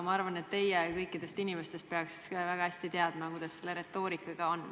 Ma arvan, et kõikide teiste inimeste seas peaksite ka teie väga hästi teadma, kuidas selle retoorikaga on.